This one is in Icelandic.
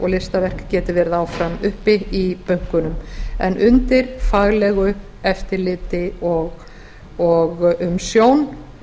og listaverk geti verið áfram uppi í bönkunum en undir faglegu eftirliti og umsjón